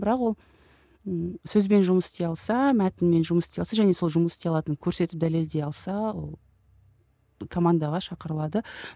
бірақ ол ыыы сөзбен жұмыс істей алса мәтінмен жұмыс істей алса және сол жұмыс істей алатынын көрсетіп дәлелдей алса ы командаға шақырылады